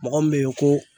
Mɔgɔ min bɛ ye ko